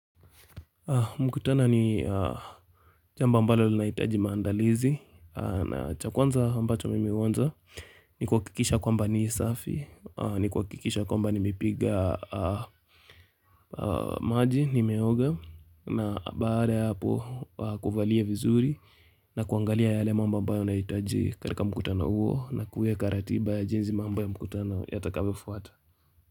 Mkutano ni jambo ambalo linahitaji maandalizi na cha kwanza ambacho mimi huanza ni ku kikisha kwamba ni safi, ni ku kikisha kwamba nimepiga maji nimeoga na baada hapo kuvalia vizuri na kuangalia yale mamba mba unaitaji karika mkutana huo na kuwe karatiba ya jenzi mambo ya mkutana yatakavo fuata.